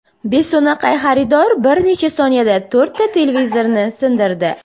Beso‘naqay xaridor bir necha soniyada to‘rtta televizorni sindirdi.